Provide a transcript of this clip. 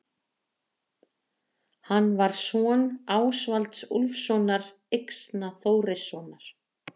Hann var son Ásvalds Úlfssonar Yxna-Þórissonar.